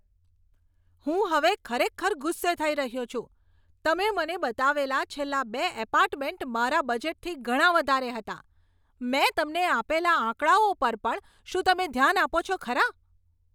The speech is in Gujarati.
હું હવે ખરેખર ગુસ્સે થઈ રહ્યો છું. તમે મને બતાવેલા છેલ્લા બે એપાર્ટમેન્ટ મારા બજેટથી ઘણા વધારે હતા. મેં તમને આપેલા આંકડાઓ પર પણ શું તમે ધ્યાન આપો છો ખરાં?